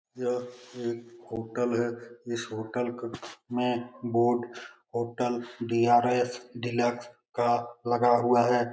यह एक होटल है इस होटल क में होटल डी.आर.एस. डीलक्स का लगा हुआ है।